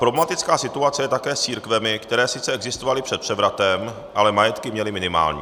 Problematická situace je také s církvemi, které sice existovaly před převratem, ale majetky měly minimální.